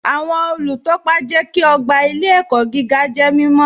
Awọn olútọ́pa jẹ́ kí ogba ilẹ̀-ẹ̀kọ̀ gígà jẹ́ mímọ̀